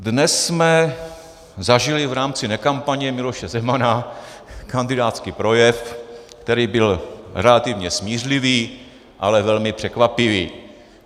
Dnes jsme zažili v rámci nekampaně Miloše Zemana kandidátský projev, který byl relativně smířlivý, ale velmi překvapivý.